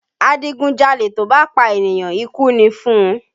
Adigunjalè tó bá pa ènìyàn, ikú ni fún un